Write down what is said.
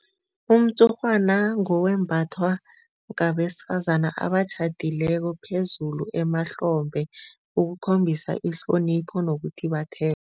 Umtshurhwana ngowembathwa ngabesifazana abatjhadileko phezulu emahlombe ukukhombisa ihlonipho nokuthi